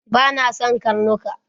Bana son karnuka